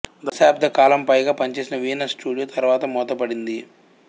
దశాబ్ద కాలం పైగా పనిచేసిన వీనస్ స్టూడియో తర్వాత మూతపడింది